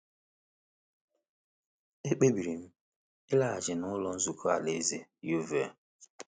Ekpebiri m ịlaghachi n’Ụlọ Nzukọ Alaeze Yeovil.